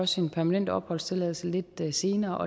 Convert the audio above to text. sin permanente opholdstilladelse lidt senere